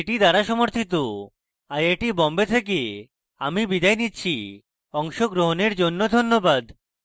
I I T Bombay থেকে আমি বিদায় নিচ্ছি অংশগ্রহণের জন্য ধন্যবাদ